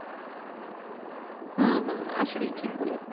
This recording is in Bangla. হুম হুম আসলে ঠিক বলেছেন